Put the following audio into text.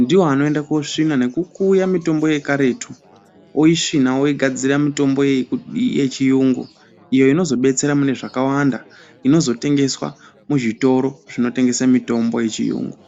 ndiwo anoenda koosvina nekukuya mitombo yekaretu, oisvina oigadzira mitombo yechiyungu. Iyo inozodetsera mune zvakawanda, inozotengeswa muzvitoro zvinotengesa mitombo yechiyungu.